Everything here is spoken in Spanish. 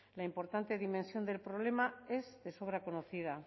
la importante dimensión del problema es de sobra conocida